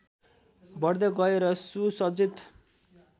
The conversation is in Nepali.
बढ्दै गयो र सुसज्जित